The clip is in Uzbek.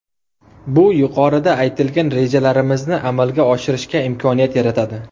Bu yuqorida aytilgan rejalarimizni amalga oshirishga imkoniyat yaratadi.